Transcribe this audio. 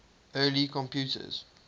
early computers